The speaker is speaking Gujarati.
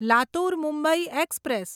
લાતુર મુંબઈ એક્સપ્રેસ